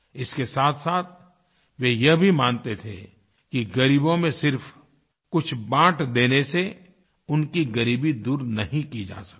इसके साथसाथ वे यह भी मानते थे कि ग़रीबों में सिर्फ़ कुछ बाँट देने से उनकी ग़रीबी दूर नहीं की जा सकती